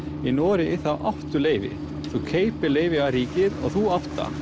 í Noregi áttu leyfin þú kaupir leyfi af ríkinu og þú átt það